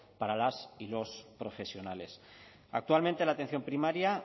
para las y los profesionales actualmente la atención primaria